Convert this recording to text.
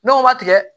N'o ma tigɛ